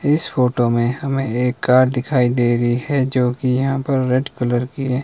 इस फोटो मे हमे एक कार दिखाई दे रही है जोकि यहां पर रेड कलर की है।